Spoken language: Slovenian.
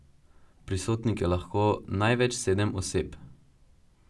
Prisotnih je lahko največ sedem oseb.